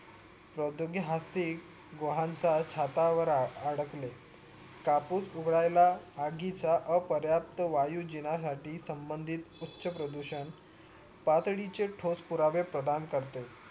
प्रोदोगी हासिक गोहनता छतावर आड आडकले कापूस उघडायला आगीचा अ प्रयात्त वायू जिन्यासाठी संबंधित उच्च प्रदूषण तातडीचे ठोस पुरावे प्रधान करते